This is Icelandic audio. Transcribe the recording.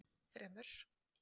þremur